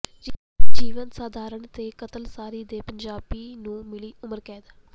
ਜੀਵਨ ਸਾਥਣ ਦੇ ਕਾਤਲ ਸਰੀ ਦੇ ਪੰਜਾਬੀ ਨੂੰ ਮਿਲੀ ਉਮਰ ਕੈਦ